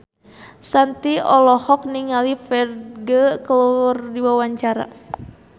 Shanti olohok ningali Ferdge keur diwawancara